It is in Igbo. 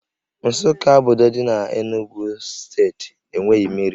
Nsukka, obodo dị n'Enugwu steeti enweghị mmiri